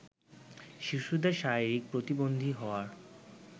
শিশুদের শারীরিক প্রতিবন্ধী হওয়ার